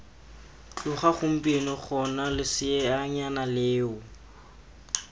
tloga gompieno gona leseanyana leo